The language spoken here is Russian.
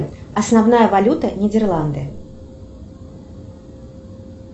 основная валюта нидерланды